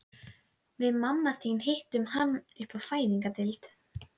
Kvöldið áður var glaumur og gleði hjá vertíðarfólkinu.